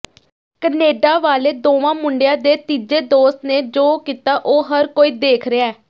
Canada ਵਾਲੇ ਦੋਵਾਂ ਮੁੰਡਿਆਂ ਦੇ ਤੀਜੇ ਦੋਸਤ ਨੇ ਜੋ ਕੀਤਾ ਉਹ ਹਰ ਕੋਈ ਦੇਖ ਰਿਹਾ